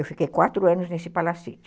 Eu fiquei quatro anos nesse Palacete.